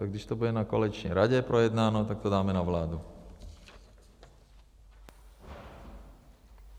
Tak když to bude na koaliční radě projednáno, tak to dáme na vládu.